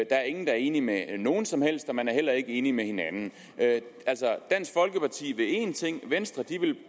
er ingen der er enig med nogen som helst og man er heller ikke enig med hinanden dansk folkeparti vil én ting venstre